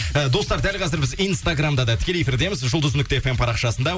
і достар дәл қазір біз инстаграмда да тікелей эфирдеміз жұлдыз нүкте фм парақшасында